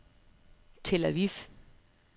Tel-Aviv